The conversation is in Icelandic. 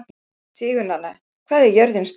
Sigurnanna, hvað er jörðin stór?